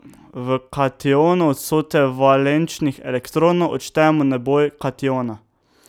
V kationu od vsote valenčnih elektronov odštejemo naboj kationa.